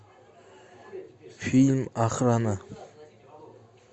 фильм охрана